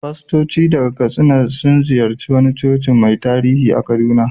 Fastoci daga Katsina sun ziyarci wani coci mai tarihi a Kaduna.